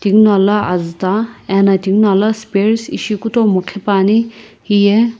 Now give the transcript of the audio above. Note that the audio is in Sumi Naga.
tinguno ala azuta ena tinguno ala spears ishi kutomo qhipuani hiye.